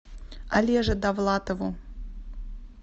олеже давлатову